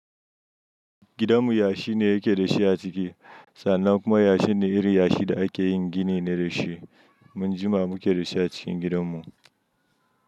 Gidanmu yashi ne yake da shi a ciki. Sannan kuma yashin ne iri yashi da ake yin gini ne da shi. Mun jima muke da shi a cikin gidanmu.